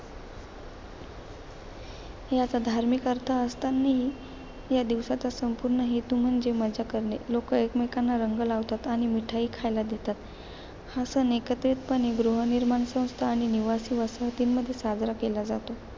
याचा धार्मिक अर्थ असतानाही या दिवसाचा संपूर्ण हेतू म्हणजे मजा करणे. लोकं एकमेकांना रंग लावतात. आणि मिठाई खायला देतात. हा सण एकत्रितपणे गृहनिर्माण संस्था आणि निवासी वसाहतींमध्ये साजरा केला जातो.